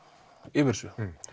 yfir þessu